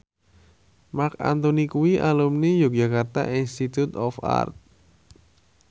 Marc Anthony kuwi alumni Yogyakarta Institute of Art